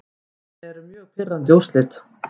Þetta eru mjög pirrandi úrslit.